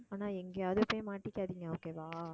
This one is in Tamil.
ஆனா எங்கேயாவது போய் மாட்டிக்காதீங்க okay வா